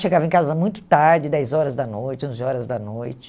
Chegava em casa muito tarde, dez horas da noite, onze horas da noite.